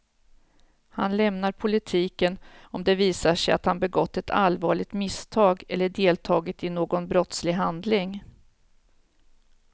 Han lämnar politiken om det visar sig att han begått ett allvarligt misstag eller deltagit i någon brottslig handling.